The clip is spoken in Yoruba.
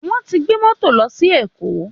Wọ́n ti gbé mọ́tò lọ sí ṣí Èkó